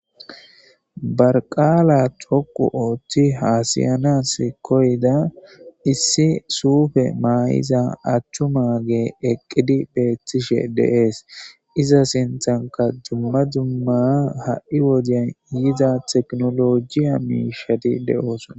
Barqaala thoqu ooththi haasiyanas koyda issi suufe maayiza achchu magee eqqidi beethtishe deees iza sinthanka dumma dzumma ha'i woden yiza teknolojiya miishadi de'oosona.